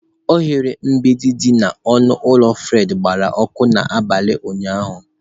Oghere mgbidi dị n'ọnụ ụlọ Fred gbara ọkụ n'abalị ụnyahụ